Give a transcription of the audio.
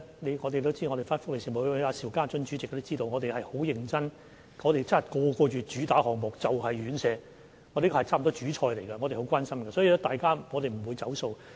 大家都知道，福利事務委員會主席邵家臻議員也知道，我們是很認真的，我們每個月討論的主打項目，就是院舍，此項目差不多是"主菜"，我們都很關心，所以我們不會"走數"。